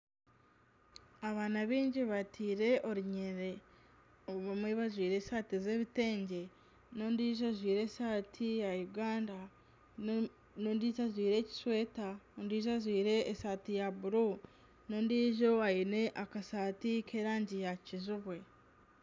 Abaana baingi bateire orunyiriri abamwe bajwaire esaati z'ebitengye ,nana ondiijo ajwaire esaati ya Uganda ,n'ondiijo ajwaire ekisweeta ,n'ondiijo ajwaire esaati ya bururu ,nana ondiijo aine akasaati ,k'erangi ya kijubwe.